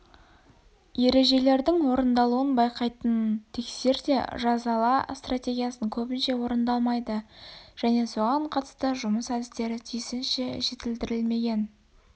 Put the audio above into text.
ережелердің орындалуын байқайтын тексер де жазала стратегиясы көбінше орындалмайды және соған қатысты жұмыс әдістері тиісінше жетілдірілмеген